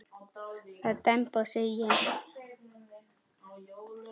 Það er demba segi ég.